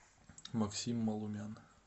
максим малумян